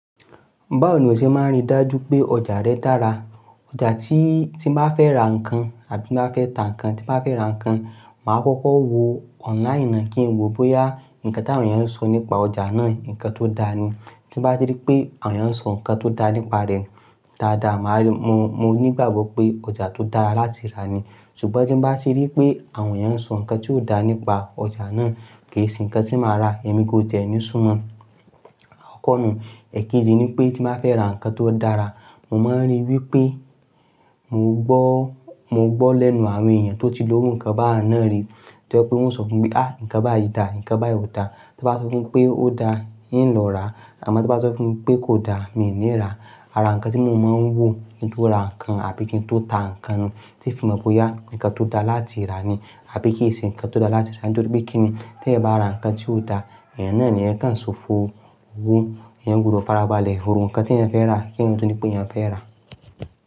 Báwo ni o ṣe máa rí dájú pé ọjà rẹ dára? Ọjà tí, tí n ba fẹ́ ra nǹkan àbí má fẹ́ ta nǹkan, tí máa fẹ́ ra nǹkan, màá kọ́kọ́ wo online náà kí n wo bóyá nǹkan tí àwọn èèyàn sọ nípa ọjà náà nǹkan tó dáa ni. Tí bá ti rí pé àwọn èèyàn sọ nǹkan tó dáa nípa rẹ̀ dáadáa, màá rí, mo, mo ní ìgbàgbọ́ pé ọjà tó dára láti rà ni. Ṣùgbọ́n tí bá ti rí pé àwọn èèyàn sọ nǹkan tí ò dáa nípa ọjà náà, kì í sí nǹkan tí màá rà, ẹ̀mi gan ò tiẹ́ ni súnmọ́. Akokọ̀ nu, eèkejì ni pé tí máa fẹ́ ra nǹkan tó dára, mo máa ń rí wí pé mo gbọ́, mo gbọ́ lẹ́nu àwọn èèyàn tó ti ló rù nǹkan bá náà rí. To je pe wọ́n o sọ fún mi pé "à nǹkan bá yìí dá, nǹkan bá yìí ò dá." Tí wọ́n bá sọ fún mi pé ó dá, ń lọ rà á. Àmọ́ tí wọ́n bá sọ fún mi pé kò dá, mi ò ní rà á. Ara nǹkan tí mo máa ń wò kí n tó ra nǹkan àbí kí n tó ta nǹkan ni tí fi mọ bóyá nǹkan tó dára láti rà ni àbí kì í sí nǹkan tó dára láti rà nítorí pé kí ni teeyan bá ra nǹkan tí ò dára, èèyàn náà ni eeyan kan sọfo owo. Èèyàn gbudọ̀ farabalẹ̀ ro nǹkan tí èèyàn fẹ́ rà kí èèyàn to ni pe eeyan fẹ́ rà á.